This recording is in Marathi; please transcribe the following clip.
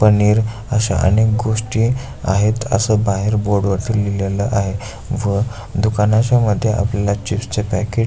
पनीर अशा अनेक गोष्टी आहेत असे बाहेर बोर्ड वरती लिहिलेल आहे व दुकानाच्यामधे आपल्याला चिप्स् चे पॅकेट --